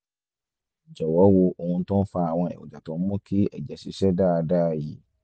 jọ̀wọ́ wo ohun tó fa àwọn èròjà tó ń mú kí ẹ̀jẹ̀ ṣiṣẹ́ dáadáa yìí